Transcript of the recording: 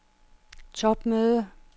topmøde